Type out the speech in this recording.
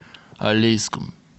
алейском